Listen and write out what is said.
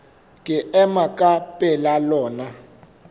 ke ema ka pela lona